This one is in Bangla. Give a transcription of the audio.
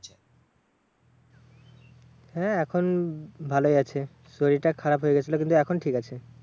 হ্যাঁ এখন ভালোই আছে। শরীরটা খারাপ হয়েগেছিলো কিন্তু এখন ঠিক আছে।